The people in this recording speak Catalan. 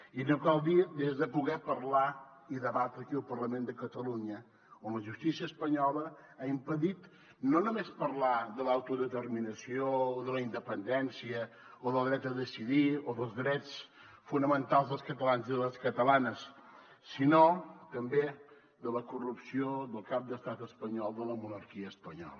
i no cal dir des de poder parlar i debatre aquí al parlament de catalunya on la justícia espanyola ha impedit no només parlar de l’autodeterminació o de la independència o del dret a decidir o dels drets fonamentals dels catalans i les catalanes sinó també de la corrupció del cap d’estat espanyol de la monarquia espanyola